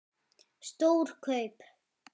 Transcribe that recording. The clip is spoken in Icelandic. Stór kaup?